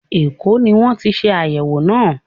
Èkó ní wọ́n ti ṣe àyẹ̀wò náà.